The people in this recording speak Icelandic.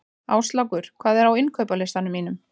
Áslákur, hvað er á innkaupalistanum mínum?